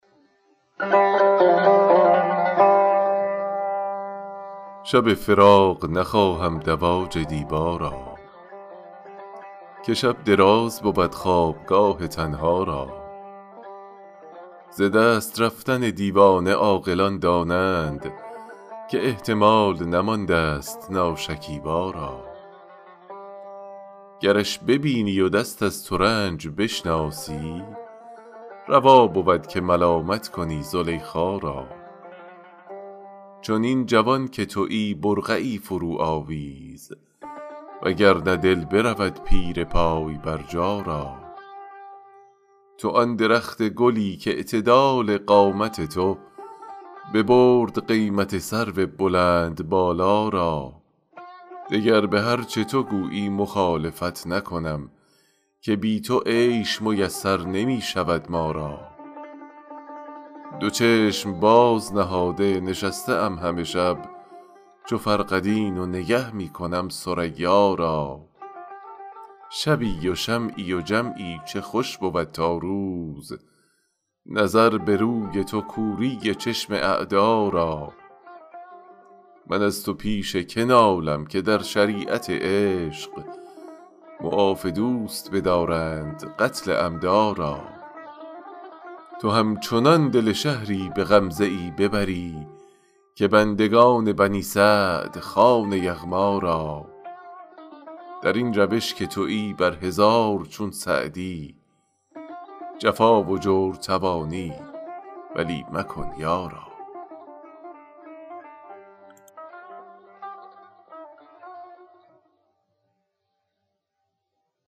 شب فراق نخواهم دواج دیبا را که شب دراز بود خوابگاه تنها را ز دست رفتن دیوانه عاقلان دانند که احتمال نماندست ناشکیبا را گرش ببینی و دست از ترنج بشناسی روا بود که ملامت کنی زلیخا را چنین جوان که تویی برقعی فروآویز و گر نه دل برود پیر پای برجا را تو آن درخت گلی کاعتدال قامت تو ببرد قیمت سرو بلندبالا را دگر به هر چه تو گویی مخالفت نکنم که بی تو عیش میسر نمی شود ما را دو چشم باز نهاده نشسته ام همه شب چو فرقدین و نگه می کنم ثریا را شبی و شمعی و جمعی چه خوش بود تا روز نظر به روی تو کوری چشم اعدا را من از تو پیش که نالم که در شریعت عشق معاف دوست بدارند قتل عمدا را تو همچنان دل شهری به غمزه ای ببری که بندگان بنی سعد خوان یغما را در این روش که تویی بر هزار چون سعدی جفا و جور توانی ولی مکن یارا